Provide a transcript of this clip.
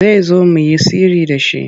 Zai zo mu yi sirri da shi.